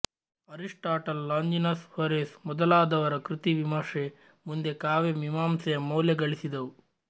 Aristotle Longinus Horace ಮೊದಲಾದವರ ಕೃತಿವಿಮರ್ಶೆ ಮುಂದೆ ಕಾವ್ಯಮೀಮಾಂಸೆಯ ಮೌಲ್ಯ ಗಳಿಸಿದವು